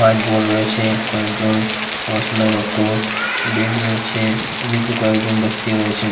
White board রয়েছে কয়েকজন পড়াশোনায় রত বেঞ্চ রয়েছে ওদিকেও কয়েকজন ব্যাক্তি রয়েছেন।